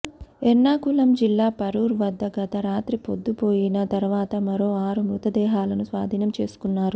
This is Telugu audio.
ఎర్నాకుళం జిల్లా పరూర్ వద్ద గత రాత్రి పొద్దుపోయిన తరువాత మరో ఆరు మృతదేహాలను స్వాధీనం చేసుకున్నారు